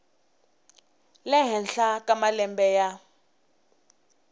le henhla ka malembe ya